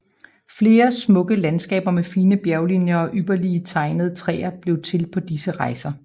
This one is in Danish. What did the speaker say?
Flere smukke landskaber med fine bjerglinjer og ypperlige tegnede træer blev til på disse rejser